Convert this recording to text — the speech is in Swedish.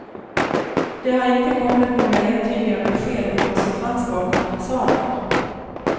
Det har inte kommit några entydiga besked om vad som fanns bakom fasaden.